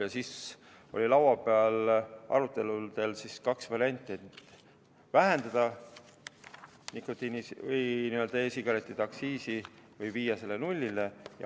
Ja siis jäi lauale kaks varianti: kas vähendada e-sigarettide aktsiisi või viia see nulli.